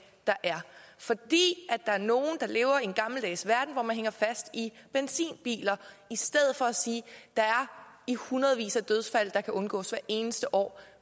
der er fordi der er nogle der lever i en gammeldags verden hvor man hænger fast i benzinbiler i stedet for at sige der er i hundredvis af dødsfald der kan undgås hvert eneste år